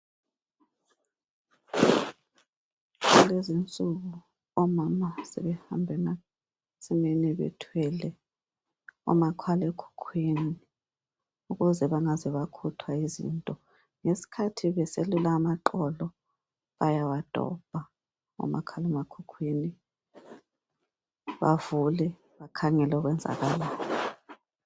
Kulezi insuku omama sebehamba emasimini bethwele omakhalekhukhwini ukuze bengaze bakhuthwa yizinto ngesikhathi beselula amaqolo bayawadobha omakhalemakhukhwini bavule bakhangele okwenzakalayo.